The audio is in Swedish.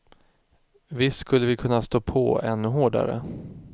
Visst skulle vi kunnat stå på ännu hårdare.